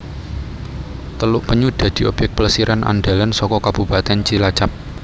Teluk Penyu dadi obyèk plesiran andhalan saka Kabupatèn Cilacap